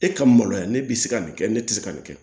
E ka maloya ne bɛ se ka nin kɛ ne tɛ se ka nin kɛ